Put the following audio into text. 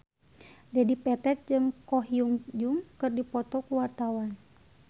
Dedi Petet jeung Ko Hyun Jung keur dipoto ku wartawan